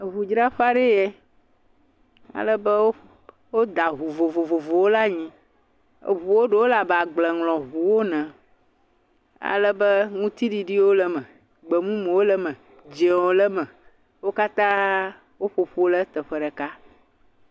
Eŋudzraƒe aɖee yɛ, alebe woƒ, woda ŋu vovovowo ɖe anyi. Eŋuwo ɖewo le abe agbleŋlɔŋuwo ene, alebe ŋutiɖiɖiwo le eme, gbemumuwo le eme, dzɛ̃wo le eme. Wo katãa woƒo ƒu ɖe teƒe ɖeka.